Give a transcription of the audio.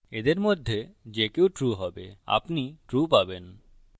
এদের মধ্যে যে কেউ true হবে আপনি true পাবেন